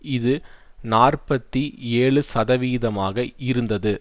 இது நாற்பத்தி ஏழு சதவிதமாக இருந்தது